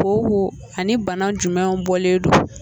Kooko a ni bana jumɛnw de bɔlen don